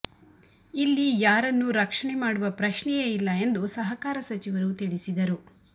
ಇಲ್ಲಿ ಯಾರನ್ನೂ ರಕ್ಷಣೆ ಮಾಡುವ ಪ್ರಶ್ನೆಯೇ ಇಲ್ಲ ಎಂದು ಸಹಕಾರ ಸಚಿವರು ತಿಳಿಸಿದರು